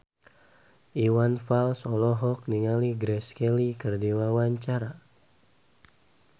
Iwan Fals olohok ningali Grace Kelly keur diwawancara